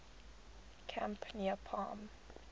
camp near palm